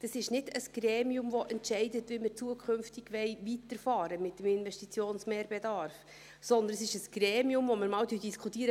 Das ist kein Gremium, das entscheidet, wie wir zukünftig mit dem Investitionsmehrbedarf weiterfahren wollen, sondern es ist ein Gremium, in dem wir einmal diskutieren: